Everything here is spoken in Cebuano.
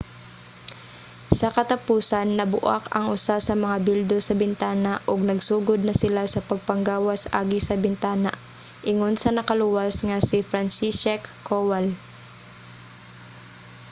sa katapusan nabu-ak ang usa sa mga bildo sa bintana ug nagsugod na sila sa pagpanggawas agi sa bintana, ingon sa nakaluwas nga si franciszek kowal